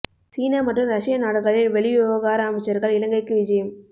சீன மற்றும் ரஷ்ய நாடுகளின் வெளிவிவகார அமைச்சர்கள் இலங்கைக்கு விஜயம்